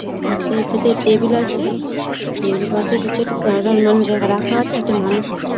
তার কাছে আছে একটা টেবিল আছে | টেবিল -এর পাশে কিছু একটা দাঁড়ান মানে রাখা আছে একটা মানুষ আছে ।